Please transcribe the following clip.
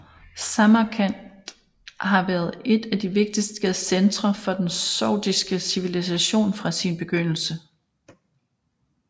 Samarkand har været et af de vigtigste centre for den sogdiske civilisation fra sin begyndelse